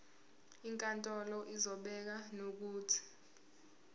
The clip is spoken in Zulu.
inkantolo izobeka nokuthi